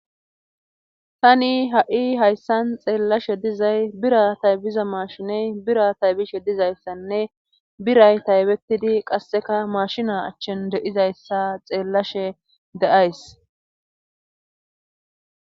Tani ha7i hayssan xeellashe dizay bira taybiza maashiney bira taybishe dizayssanne biray taybetidi qasseka maashina achchen de7izayssa xeellashe de7ays.